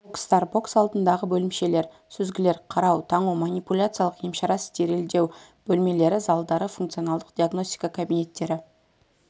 бокстар бокс алдындағы бөлімшелер сүзгілер қарау таңу манипуляциялық емшара стерильдеу бөлмелері залдары функционалдық диагностика кабинеттері